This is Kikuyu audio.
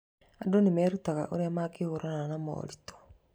Andũ nĩ merutaga ũrĩa mangĩhũrana na moritũ.